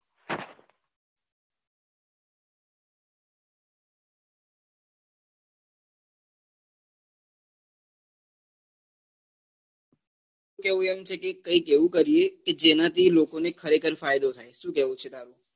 એનું કેવું એમ છે કે કઈક એવું કરીએ જેના થી લોકો ને ખરેખર ફાયદો થાય શું કેવું છે તારું?